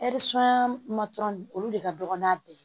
olu de ka dɔgɔ n'a bɛɛ ye